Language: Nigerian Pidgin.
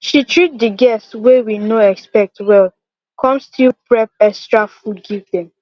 she treat de guests wey we no expect well come still prep extra food give dem